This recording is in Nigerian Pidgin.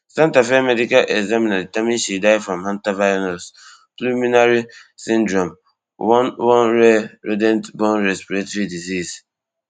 santa fe medical examiner determiner she die from hantavirus pulminary syndrome one one rare rident borne respiratory disease